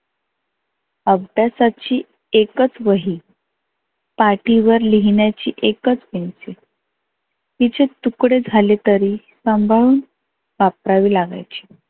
अभ्यासाची एकच वही पाटीवर लिहिण्याची एकच पेन्सिल तीचे तुकडे झाले तरी संभाळून वापरावी लागायची.